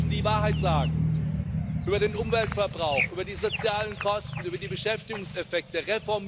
Die Zahlen müssen die Wahrheit sagen über den Umweltverbrauch, über die sozialen Kosten, über die Beschäftigungseffekte.